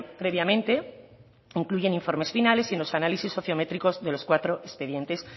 previamente incluyen informes finales y los análisis sociométricos de los cuatro expedientes